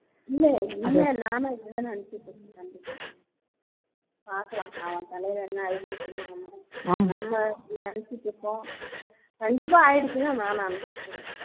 இல்ல உன்மையா நானும் இப்படி தான் நினைச்சிட்டு இருந்தேன் பாக்கலாம் அவன் தலையில என்ன எழுதி இருக்குன்னு நம்ம நம்ம அப்படி நினைச்சிட்டு இருக்கோம் கண்டிப்பா ஆகிடுச்சினு தான் நான் நினைச்சிட்டு இருக்கேன்